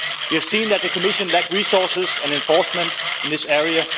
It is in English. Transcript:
We have seen that the Commission lacks resources and enforcement in this area